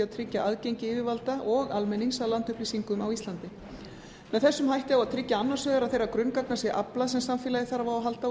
tryggja aðgengi yfirvalda og almennings að landupplýsingum á íslandi með þessum hætti á að tryggja annars vegar að þeirra grunngagna sem aflað sem samfélagið þarf á að halda og